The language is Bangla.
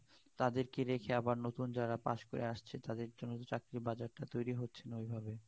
তাদের কে রেখে আবার নতুন যারা পাশ করে আসছে তাদের জন্য চাকরির বাজার টা তৈরি হচ্ছে না ওই ভাবে